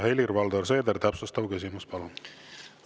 Helir-Valdor Seeder, täpsustav küsimus, palun!